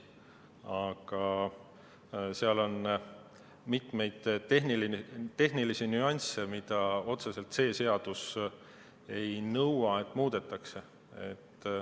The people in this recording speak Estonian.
Aga seal on mitmeid tehnilisi nüansse, mida otseselt see seadus ei nõua, et muudetakse.